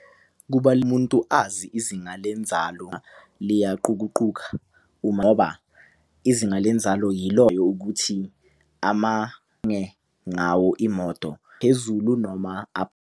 Umuntu azi izinga lenzalo liyaqukuquka ngoba izinga lenzalo yiloyo ukuthi ngawo imoto phezulu noma .